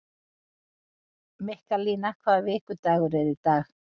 Mikkalína, hvaða vikudagur er í dag?